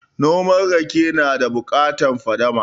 Noma rake na da bukatan fadama